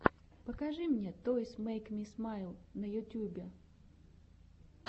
покажи мне тойс мэйк ми смайл на ютьюбе